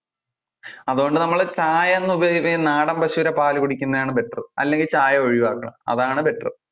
അതുകൊണ്ട് നമ്മള് ചായ ഉപായിയോഗികുമ്പോൾ ഈ നാടൻ പശുവിന്‍ടെ പാല് കുടിക്കുന്നതാണ് better അല്ലെങ്കിൽ ചായ ഒഴിയുവാക്കണം അതാണ് better